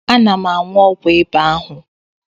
Ana m aṅụ ọgwụ ịba ahu.